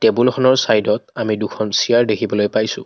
বুলখনৰ চাইডত আমি দুখন চিয়াৰ দেখিবলৈ পাইছোঁ।